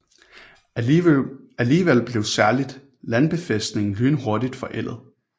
Alligevel blev særligt Landbefæstningen lynhurtigt forældet